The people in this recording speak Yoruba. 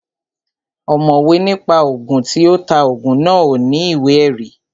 Ọ̀mọ̀wé ní pa Ògùn, tí ó ta Ògùn náà ò ní ìwé ẹ̀rí